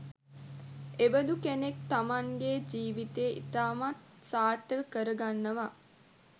එබඳු කෙනෙක් තමන්ගෙ ජීවිතය ඉතාමත් සාර්ථක කරගන්නවා